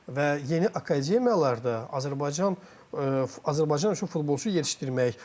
Və yeni akademiyalarda Azərbaycan Azərbaycan üçün futbolçu yetişdirməy.